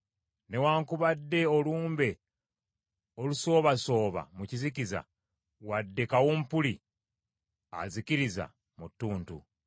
newaakubadde olumbe olusoobasooba mu kizikiza, wadde kawumpuli azikiriza mu ttuntu.